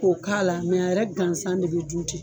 Ko k'a la a yɛrɛ gansan de be dun ten.